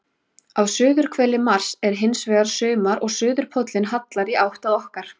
Á suðurhveli Mars er hins vegar sumar og suðurpóllinn hallar í átt að okkar.